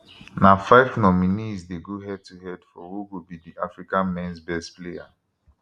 na five nominees dey go head to head for who go be di africa mens best player